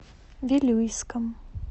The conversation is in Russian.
вилюйском